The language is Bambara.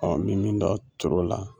Ɔ be min dɔn toro la